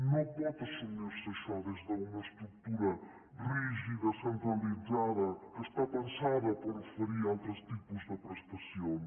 no pot assumir se això des d’una estructura rígida centralitzada que està pensada per oferir altres tipus de prestacions